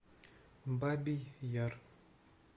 бабий яр